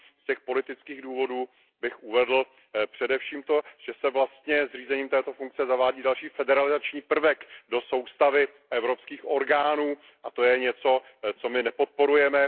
Z těch politických důvodů bych uvedl především to, že se vlastně zřízením této funkce zavádí další federalizační prvek do soustavy evropských orgánů, a to je něco, co my nepodporujeme.